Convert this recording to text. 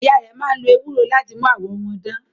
Ìyá rẹ̀ máa ń lo ewúro láti mú àwọ̀ wọn dán.